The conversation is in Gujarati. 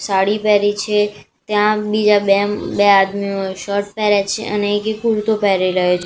સાડી પેહરી છે ત્યાં બીજા બે બે આદમીઓ શર્ટ પેહરે છે અને એકે કુર્તો પેહરી રહ્યો--